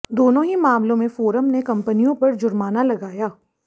दोनों ही मामलों में फोरम ने कंपनियों पर जुर्माना लगाया